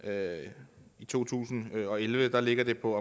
at i to tusind og elleve ligger det på